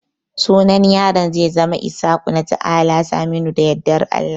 sunan yaran zai zama Ishaku, Nata'ala, Saminu da Yadda Allah